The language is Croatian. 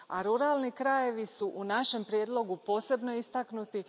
Ruralni krajevi su u našem prijedlogu posebno istaknuti.